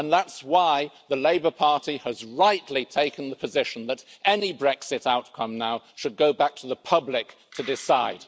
And that's why the Labour Party has rightly taken the position that any Brexit outcome now should go back to the public to decide.